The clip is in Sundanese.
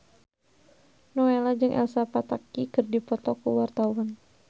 Nowela jeung Elsa Pataky keur dipoto ku wartawan